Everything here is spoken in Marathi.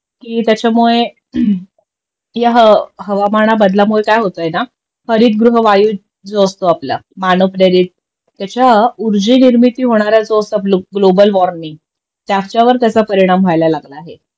कि त्याच्यामुळे या हवा हवामाना बदलामुळे काय होतंय ना हरितगृह वायू जो असतो आपला मानवप्रेरित त्याच्या उर्जेनिर्मिती होणाऱ्या जो असा ग्लोबल वॉर्मिंग त्याच्यावर त्याचा परिणाम व्हायला लागलाय